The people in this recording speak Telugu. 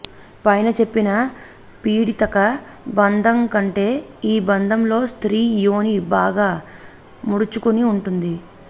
పైన చెప్పిన పీడితక బంధంకంటే ఈ బంధంలో స్త్రీ యోని బాగా ముడుచుకుని ఉంటుంది